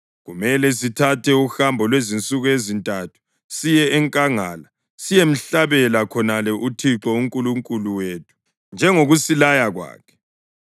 Kumele sithathe uhambo lwezizinsuku ezintathu siye enkangala siyemhlabela khonale uThixo uNkulunkulu wethu njengokusilaya kwakhe.”